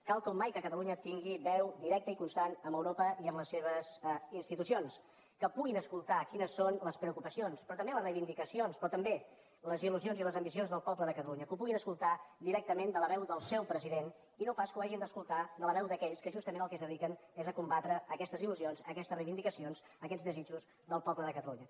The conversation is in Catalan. cal com mai que catalunya tingui veu directa i constant amb europa i amb les seves institucions que puguin escoltar quines són les preocupacions però també les reivindicacions però també les illusions i les ambicions del poble de catalunya que ho puguin escoltar directament de la veu del seu president i no pas que ho hagin d’escoltar de la veu d’aquells que justament al que es dediquen és a combatre aquestes il·lusions aquestes reivindicacions aquests desitjos del poble de catalunya